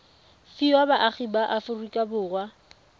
fiwa baagi ba aforika borwa